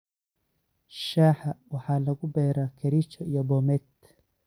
Shaaha waxaa lagu beeraa Kericho iyo Bomet.